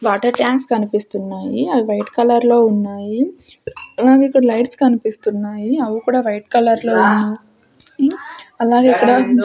Water tanks కనిపిస్తున్నాయి అవి white colour లో ఉన్నాయి అలాగే ఇక్కడ లైట్స్ కనిపిస్తున్నాయి అవి కూడా వైట్ కలర్ లో ఉన్నా యి అలాగే ఇక్కడ.